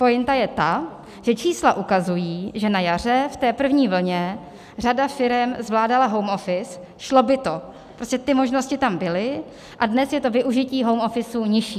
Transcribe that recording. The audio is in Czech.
Pointa je ta, že čísla ukazují, že na jaře v té první vlně řada firem zvládala home office, šlo by to, prostě ty možnosti tam byly, a dnes je to využití home office nižší.